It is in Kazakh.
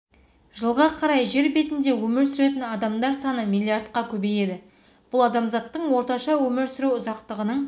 жылға қарай жер бетінде өмір сүретін адамдар саны миллиардқа көбейеді бұл адамзаттың орташа өмір сүру ұзақтығының